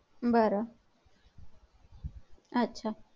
बर अच्छा.